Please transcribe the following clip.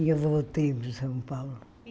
E eu voltei para São Paulo.